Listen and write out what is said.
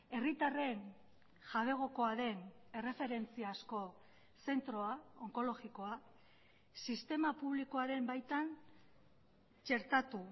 herritarren jabegokoa den erreferentziazko zentroa onkologikoa sistema publikoaren baitan txertatu